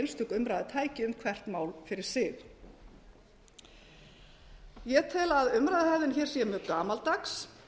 einstök umræða tæki um hvert mál fyrir sig ég tel að umræðuhefðin hér sé mjög gamaldags hún